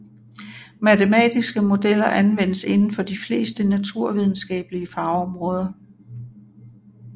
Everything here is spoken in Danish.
Matematiske modeller anvendes inden for de fleste naturvidenskabelige fagområder